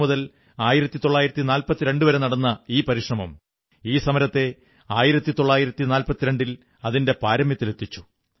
1857 മുതൽ 1942 വരെ നടന്ന ഈ പരിശ്രമം ഈ സമരത്തെ 1942ൽ അതിന്റെ പാരമ്യത്തിലെത്തിച്ചു